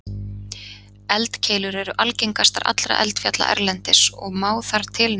Eldkeilur eru algengastar allra eldfjalla erlendis og má þar til nefna